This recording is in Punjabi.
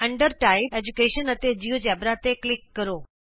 ਟਾਈਪ ਦੇ ਅਧੀਨ ਐਜੂਕੇਸ਼ਨ ਅਤੇ ਜਿਉਜੇਬਰਾ ਤੇ ਕਲਿਕ ਕਰੋ